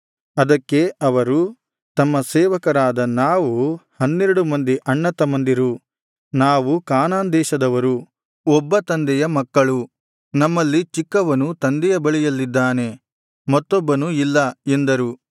ಅದಕ್ಕೆ ಅವರು ತಮ್ಮ ಸೇವಕರಾದ ನಾವು ಹನ್ನೆರಡು ಮಂದಿ ಅಣ್ಣತಮ್ಮಂದಿರು ನಾವು ಕಾನಾನ್ ದೇಶದವರು ಒಬ್ಬ ತಂದೆಯ ಮಕ್ಕಳು ನಮ್ಮಲ್ಲಿ ಚಿಕ್ಕವನು ತಂದೆಯ ಬಳಿಯಲ್ಲಿದ್ದಾನೆ ಮತ್ತೊಬ್ಬನು ಇಲ್ಲ ಎಂದರು